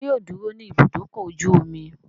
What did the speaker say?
Ṣé yóò dúró ní Ibùdó-ọkọ̀ ojú-omi?